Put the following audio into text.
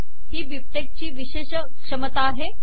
हि बिबटेक्स ची विशेष क्षमता आहे